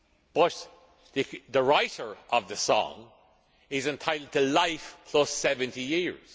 But the writer of the song is entitled to life plus 70 years.